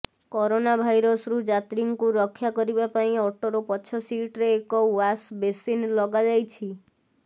corona ଭାଇରସରୁ ଯାତ୍ରୀଙ୍କୁ ରକ୍ଷା କରିବା ପାଇଁ ଅଟୋର ପଛ ସିଟ୍ରେ ଏକ ୱାଶ୍ ବେସିନ ଲଗାଯାଇଛି